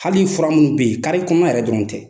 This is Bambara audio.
Hali fura minnu bɛ yen, kare kɔnɔ yɛrɛ dɔrɔn tɛ